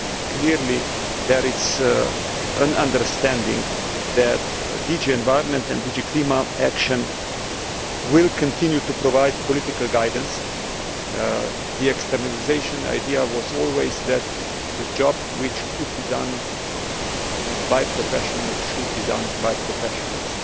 Clearly there is an understanding that DG Environment and DG Climate Action will continue to provide political guidance. The externalisation idea was always that a job which could be done by professionals should be done by professionals,